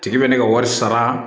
Tigi bɛ ne ka wari sara